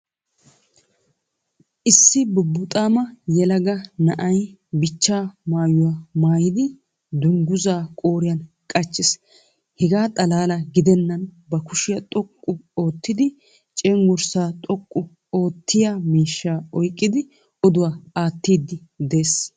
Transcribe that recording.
Issi bubuuxama yeelaga naa'yi biica maayuwa maayidi dunguzza qooriyan qaachiis. Heega xalaala giideenan ba kuushiya xooqqu oottidi cenggurssaa xooqqu oottiyaa miishsha oyiiqqidi odduwaa attiiddi de'ees.